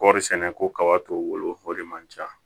Kɔɔri sɛnɛ ko kaba t'o bolo o de man ca